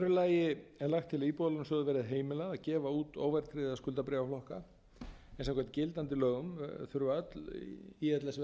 lagi er lagt til að íbúðalánasjóði verði heimilað að gefa út óverðtryggða skuldabréfaflokka en samkvæmt gildandi lögum þurfa öll íslenskum veðbréf að vera verðtryggð með vísitölu